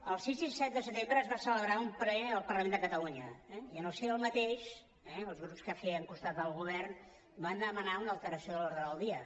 el sis i el set de setembre es va celebrar un ple al parlament de catalunya eh i en el si del mateix els grups que fèiem costat al govern van demanar una alteració de l’ordre del dia